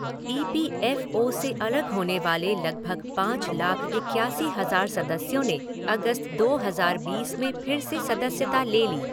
ई P F O से अलग होने वाले लगभग पाँच लाख इक्यासी हज़ार सदस्यों ने अगस्त दो हज़ार बीस में फिर से सदस्यता ले ली।